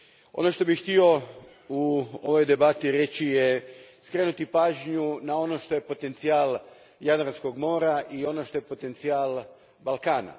Ono što bih htio u ovoj debati reći je skrenuti pažnju na ono što je potencijal Jadranskog mora i ono što je potencijal Balkana.